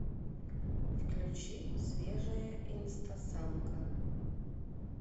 включи свежая инстасамка